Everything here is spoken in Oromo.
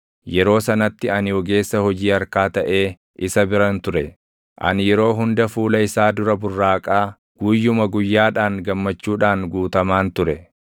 Yeroo sanatti ani ogeessa hojii harkaa taʼee isa biran ture. Ani yeroo hunda fuula isaa dura burraaqaa, guyyuma guyyaadhaan gammachuudhaan guutamaan ture;